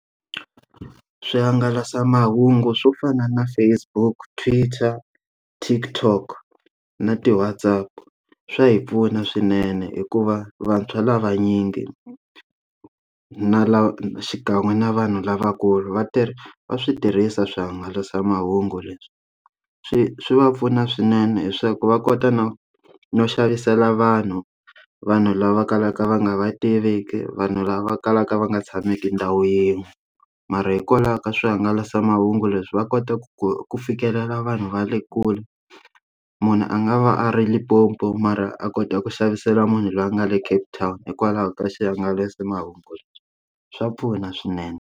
Swihangalasamahungu swo fana na Facebook, Twitter, Tik Tok na ti WhasApp swa hi pfuna swinene hikuva vantshwa lava vanyingi ku na lava xikan'we na vanhu lavakulu vatirhi va swi tirhisa swihangalasamahungu leswi swi swi va pfuna swinene leswaku va kota no no xavisela vanhu vanhu lava kalaka va nga va tiviki vanhu lava kalaka va nga tshameki ndhawu yin'we mara hikwalaho ka swihangalasamahungu leswi va kota ku ku ku fikelela vanhu va le kule munhu a nga va a ri Limpopo mara a kota ku xavisela munhu loyi a nga le Cape town hikwalaho ka swihangalasamahungu lexi swa pfuna swinene.